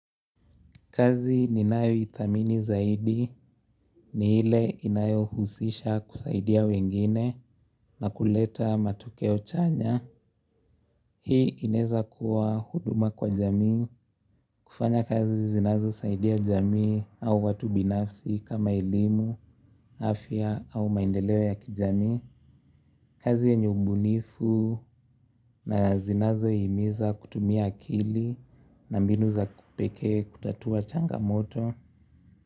Kazi ni nayoithamini zaidi ni ile inayohusisha kusaidia wengine na kuleta matokeo chanya. Hii inaeza kuwa huduma kwa jamii. Kufanya kazi zinazosaidia jamii au watu binafsi kama elimu, afya au maendeleo ya kijamii. Kazi yenye ubunifu na zinazohimiza kutumia akili na mbinu za pekee kutatua changamoto.